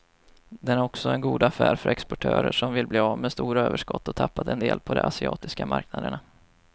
Den är också god affär för exportörer som vill bli av med stora överskott och tappat en del på de asiatiska marknaderna.